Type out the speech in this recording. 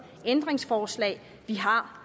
ændringsforslag vi har